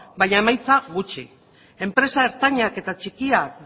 baina emaitza gutxi enpresa ertainak eta txikiak